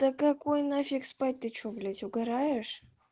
да на какой нафиг спать ты что блять угараешь